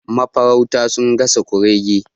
Mafarauta sun gasa kurege